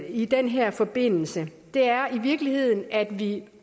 i den her forbindelse er i virkeligheden at vi